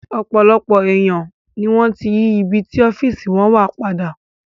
Ọ̀pọ̀lọpọ̀ èèyàn ni wọ́n ti yí ibi tí ọ́fíìsì wọn wà padà